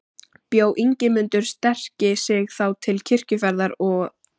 Bjó Ingimundur sterki sig þá til kirkjuferðar að Knerri.